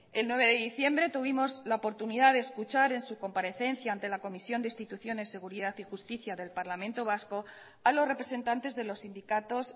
el nueve de diciembre tuvimos la oportunidad de escuchar en su comparecencia ante la comisión de instituciones seguridad y justicia del parlamento vasco a los representantes de los sindicatos